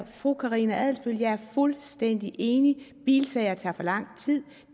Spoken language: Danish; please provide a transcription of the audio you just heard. fru karina adsbøl at jeg er fuldstændig enig bilsager tager for lang tid